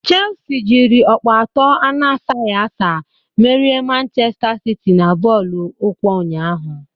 Chelsi jịrị ọkpọ atọ anasaghị asa merie Manchesta siti na bọọlụ ụkwụ ụnyaahụ